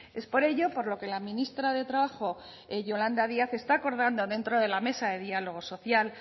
es por ello por lo que la ministra de trabajo yolanda díaz está acordando dentro de la mesa de diálogo social